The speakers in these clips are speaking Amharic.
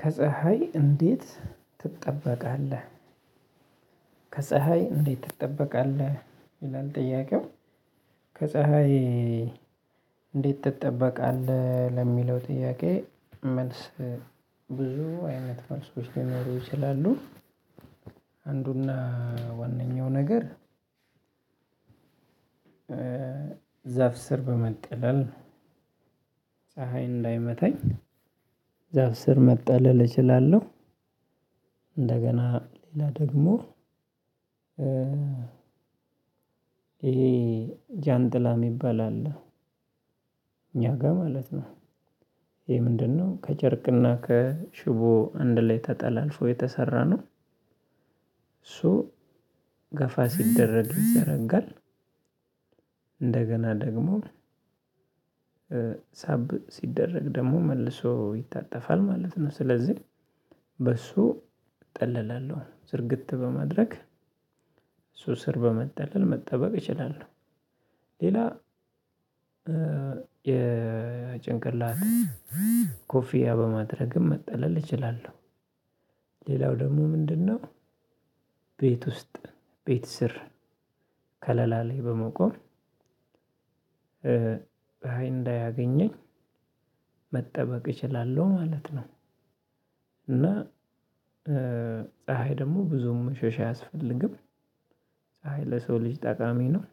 ከፀሀይ እንዴት ትጠበቃለህ? ከፀሀይ እንዴት ትጠበቃለህ ይላል ጥያቄው ከፀሀይ እንዴት ትጠበቃለህ ለሚለው ጥያቄ መልስ ብዙ አይነት መልሶች ሊኖሩ ይችላሉ። አንዱና ዋነኛው ነገር። ዛፍ ስር በመጠለል ፀሀይ እንዳይመታኝ ዛፍ ስር መጠለል እችላለሁ። እንደገና ሌላ ደግሞ ይሄ ጃንጥላ የሚባል አለ። እኛ ጋር ማለት ነው። ይሄ ምንድነው ከጨርቅና ከሽቦ አንድ ላይ ተጠላልፎ የተሰራ ነው። እሱ ገፋ ሲደረግ ይዘረጋል። እንደገና ደግሞ ሳብ ሲደረግ ደግሞ መልሶ ይታጠፋል ማለት ነው። ስለዚህ በሱ እጠላለሁ ዝርግት በማድረግ እሱ ስር በመጠለል መጠበቅ እችላለሁ። ሌላ የጭንቅላት ኮፍያ በማድረግም መጠለል እችላለሁ። ሌላው ደግሞ ምንድነው? ቤት ውስጥ ቤት ስር ከለላ ላይ በመቆም እንዳያገኘኝ መጠበቅ እችላለሁ ማለት ነው። እና ፀሀይ ደግሞ ብዙም መሸሽ አያስፈልግም። ፀሀይ ለሰው ልጅ ጠቃሚ ነው።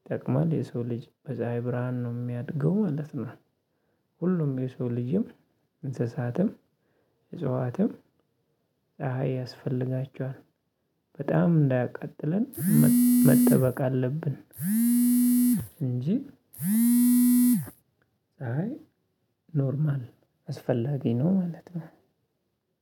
ይጠቅማል የሰው ልጅ በፀሀይ ብርሃን ነው የሚያድገው ማለት ነው። ሁሉም የሰው ልጅም እንስሳትም እጽዋትም ፀሀይ ያስፈልጋቸዋል። በጣም እንዳያቃጥለን መጠበቅ አለብን። እንጂ ፀሀይ ኖርማል አስፈላጊ ነው ማለት ነው።